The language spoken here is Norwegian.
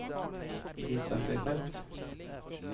vis verktøysfelt